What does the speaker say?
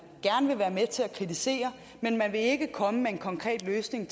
gerne vil være med til at kritisere men man vil ikke komme med en konkret løsning